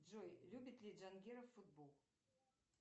джой любит ли джангиров футбол